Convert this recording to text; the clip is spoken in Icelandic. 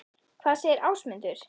Hvað segir Ásmundur?